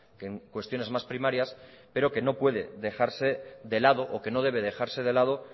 que en cuestiones más primarias pero que no puede dejarse de lado o que no debe dejarse de lado